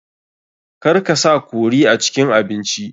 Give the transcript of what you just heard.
Kar ka sa curry a cikin abinci.